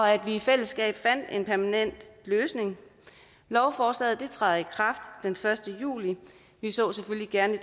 at vi i fællesskab fandt en permanent løsning lovforslaget træder i kraft den første juli vi så selvfølgelig gerne i